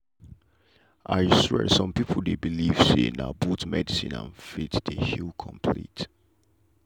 i swear some people dey believe say na both medicine and faith dey heal complete.